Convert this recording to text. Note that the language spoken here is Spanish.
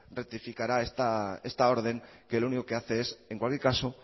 rectificará esta orden que lo único que hace es en cualquier caso